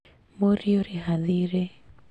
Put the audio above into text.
Mũriũ rĩha thiirĩ